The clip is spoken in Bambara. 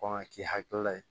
Kɔn ka k'i hakilila ye